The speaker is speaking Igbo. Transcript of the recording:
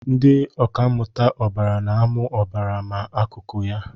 Ndị ọkà mmụta ọbara na-amụ ọbara na akụkụ ya